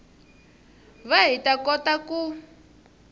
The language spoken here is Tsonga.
va hi ta kota ku